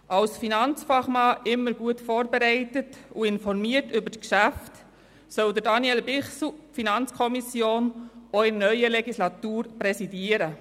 Als Finanzfachmann immer gut vorbereitet und informiert über die Geschäfte, soll Daniel Bichsel die FiKo auch in der neuen Legislatur präsidieren.